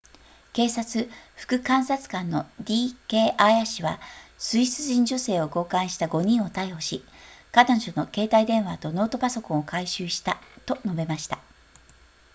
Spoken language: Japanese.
警察副監察官の d k アーヤ氏はスイス人女性を強姦した5人を逮捕し彼女の携帯電話とノートパソコンを回収したと述べました